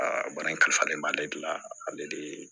Aa baara in ka di ale de ye